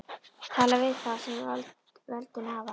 Tala við þá sem völdin hafa.